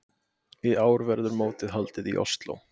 Í ár verður mótið haldið í Osló.